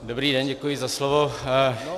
Dobrý den, děkuji za slovo.